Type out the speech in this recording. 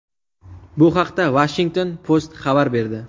Bu haqda Washington Post xabar berdi .